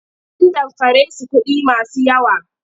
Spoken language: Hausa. An damfare su kuɗi masu yawa.